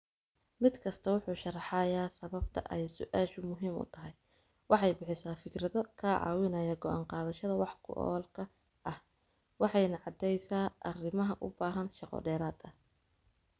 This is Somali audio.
Mid kastaa wuxuu sharxayaa sababta ay su'aashu muhiim u tahay, waxay bixisaa fikrado ka caawinaya go'aan qaadashada wax ku oolka ah, waxayna caddeysaa arrimaha u baahan shaqo dheeraad ah.